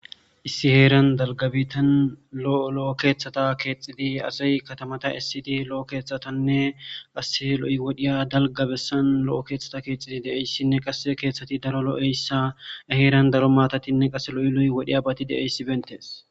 Issi heeran dalgabitan lo'o lo'o keeththata keexxidi azay katamata essidi lo'o keeththatanne qase lo'i wodhiya dalgabessan lo'o keeththata keexxidi de'eyssinne qasse keeththati daro lo'eyssa heeran daro maatatinne qase lo'i lo'i wodhi abati deessi bentees.